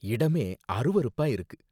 இடமே அருவருப்பா இருக்கு.